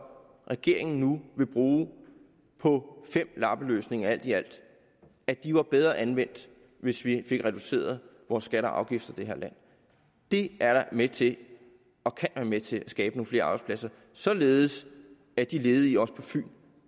regeringen nu vil bruge på fem lappeløsninger alt i alt var bedre anvendt hvis vi fik reduceret vores skatter og afgifter i det her land det er da med til og kan være med til at skabe nogle flere arbejdspladser således at de ledige også på fyn